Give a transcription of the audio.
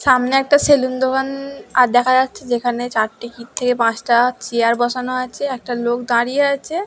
সামনে একটা সেলুন দোকান আহ দেখা যাচ্ছে যেখানে চারটে থেকে পাঁচটা চেয়ার বসানো আছে একটা লোক দাঁড়িয়ে আছে।